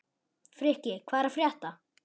Frikki, hvað er að frétta?